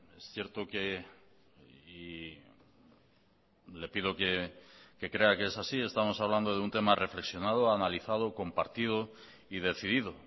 es cierto que y le pido que crea que es así estamos hablando de un tema reflexionado analizado compartido y decidido